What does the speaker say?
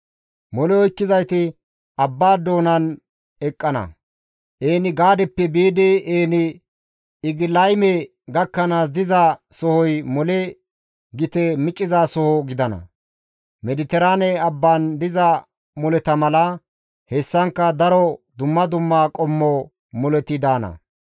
Mole oykkizayti abbaa doonan eqqana; En-Gaadeppe biidi En-Egilayme gakkanaas diza sohoy mole gite miccizasoho gidana. Mediteraane Abban diza moleta mala, hessankka daro dumma dumma qommo moleti daana.